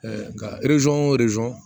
nka